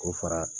K'o fara